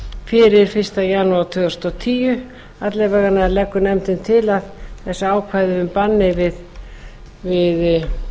fyrir fyrsta janúar tvö þúsund og tíu alla vega leggur nefndin til að þessi ákvæði um banni við